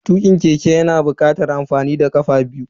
Tukin keke yana bukatar amfani da kafa biyu.